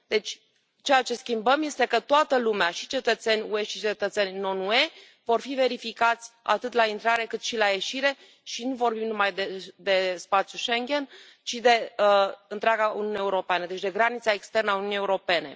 Deci, ceea ce schimbăm este că toată lumea, și cetățeni UE, și cetățeni non UE, va fi verificată atât la intrare, cât și la ieșire și nu vorbim numai de spațiul Schengen, ci de întreaga Uniune Europeană, deci de granița externă a Uniunii Europene.